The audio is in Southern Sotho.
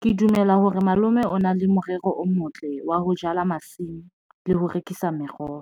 Ke dumela hore malome o na le morero o motle wa ho jala masimo le ho rekisa meroho